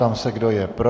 Ptám se, kdo je pro.